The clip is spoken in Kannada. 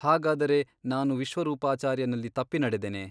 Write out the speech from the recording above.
ಹಾಗಾದರೆ ನಾನು ವಿಶ್ವರೂಪಾಚಾರ್ಯನಲ್ಲಿ ತಪ್ಪಿ ನಡೆದೆನೆ ?